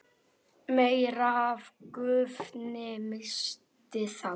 meira af gufunni missist þá.